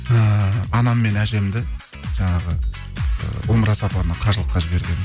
ііі анам мен әжемді жаңағы ы умра сапарына қажылыққа жібергенмін